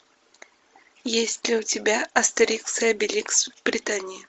есть ли у тебя астерикс и обеликс в британии